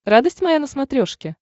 радость моя на смотрешке